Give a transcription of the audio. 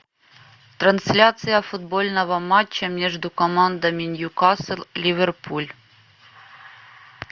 трансляция футбольного матча между командами ньюкасл ливерпуль